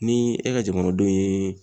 Ni e ka jamanadenw ye